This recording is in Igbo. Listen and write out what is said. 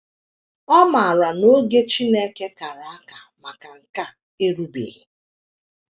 Ọ maara na oge Chineke kara aka maka nke a erubeghị.